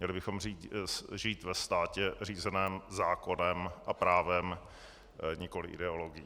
Měli bychom žít ve státě řízeném zákonem a právem, nikoliv ideologií.